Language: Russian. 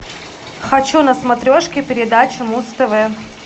хочу на смотрешке передачу муз тв